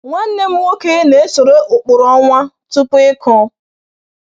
Nwanne m nwoke na-esoro ụkpụrụ ọnwa tupu ịkụ.